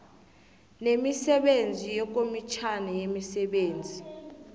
nemisebenzi yekomitjhana yemisebenzi